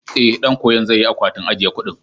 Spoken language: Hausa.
Ee, ɗan koyon zai yi akwatin ajiye kuɗin.